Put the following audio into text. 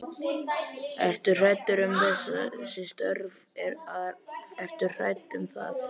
Ertu hræddur um þessi störf að, ertu hræddur um þau?